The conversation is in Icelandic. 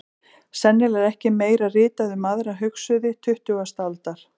Sennilega er ekki meira ritað um aðra hugsuði tuttugustu aldar.